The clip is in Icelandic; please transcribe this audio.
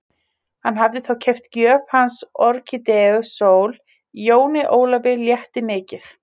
Hann hafði þá keypt gjöf hans Orkídeu Sól, Jóni Ólafi létti mikið.